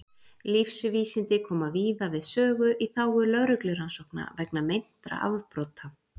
lífvísindi koma víða við sögu í þágu lögreglurannsókna vegna meintra afbrota